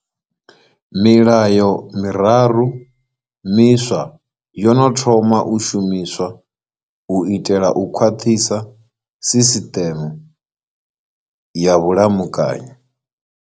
Milayo miraru miswa yo no thoma u shumiswa u itela u khwaṱhisa sisiṱeme ya vhulamukanyi.